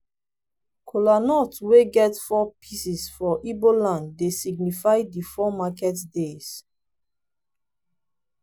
kolanut wey get four pieces for igbo land dey signify di four market days.